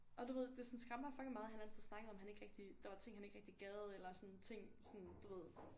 Og du ved det sådan skræmte mig fucking meget han altid snakkede om han rigtig der var ting han ikke rigtig gad eller sådan ting sådan du ved